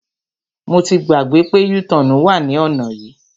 Mo ti gbàgbé pé u-turn wà ní ọ̀nà yìí.